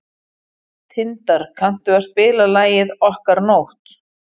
Tindar, kanntu að spila lagið „Okkar nótt“?